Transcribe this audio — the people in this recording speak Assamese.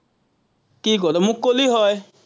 কি ক, তই। মোক কলেই হয়।